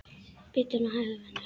Bíddu nú hægur, vinur.